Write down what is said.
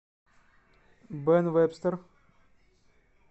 бэн вэбстэр